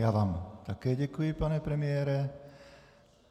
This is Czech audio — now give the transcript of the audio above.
Já vám také děkuji, pane premiére.